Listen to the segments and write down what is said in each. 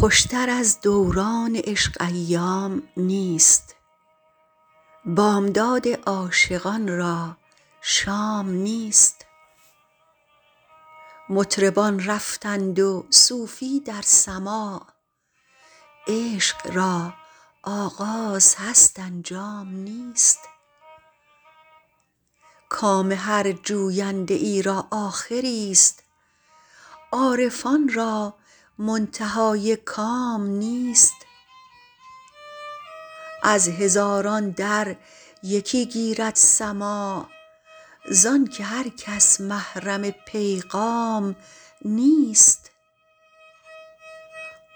خوشتر از دوران عشق ایام نیست بامداد عاشقان را شام نیست مطربان رفتند و صوفی در سماع عشق را آغاز هست انجام نیست کام هر جوینده ای را آخریست عارفان را منتهای کام نیست از هزاران در یکی گیرد سماع زآن که هر کس محرم پیغام نیست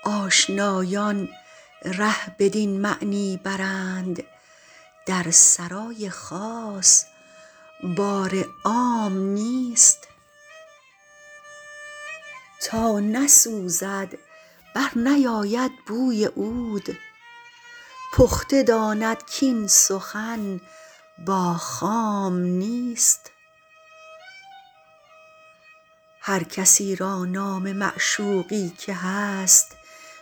آشنایان ره بدین معنی برند در سرای خاص بار عام نیست تا نسوزد برنیاید بوی عود پخته داند کاین سخن با خام نیست هر کسی را نام معشوقی که هست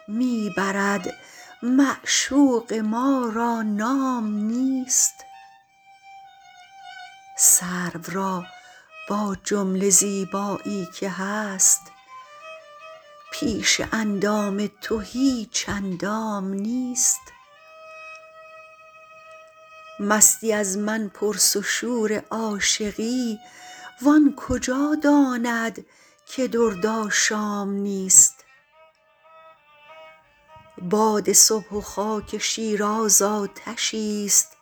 می برد معشوق ما را نام نیست سرو را با جمله زیبایی که هست پیش اندام تو هیچ اندام نیست مستی از من پرس و شور عاشقی و آن کجا داند که درد آشام نیست باد صبح و خاک شیراز آتشیست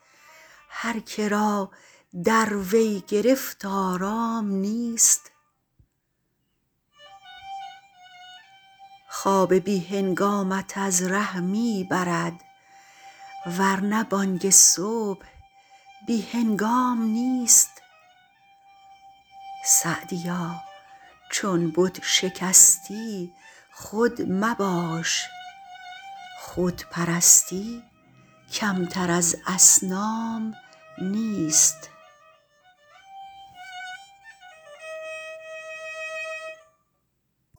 هر که را در وی گرفت آرام نیست خواب بی هنگامت از ره می برد ور نه بانگ صبح بی هنگام نیست سعدیا چون بت شکستی خود مباش خود پرستی کمتر از اصنام نیست